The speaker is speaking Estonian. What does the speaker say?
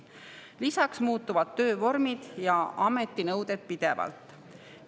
Nagu öeldud, lisaks muutuvad töövormid ja ametinõuded pidevalt.